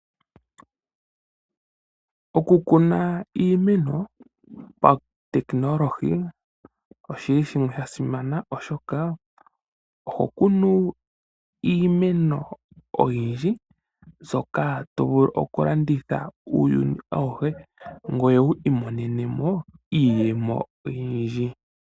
Oku kuna iimeno pawunongononi oshili sha simana oshoka oho kunu iimeno oyiindji mbyoka tovulu oku landitha uuyuni awushe gwoye wu imonenemo iiyemo oyindji.